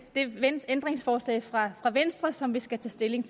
ændringsforslag fra venstre som vi skal tage stilling